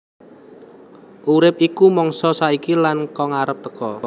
Urip iku mangsa saiki lan kang arep teka